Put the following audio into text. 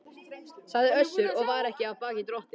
sagði Össur og var ekki af baki dottinn.